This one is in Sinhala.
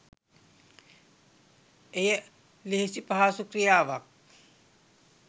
එය ලෙහෙසි පහසු ක්‍රියාවක්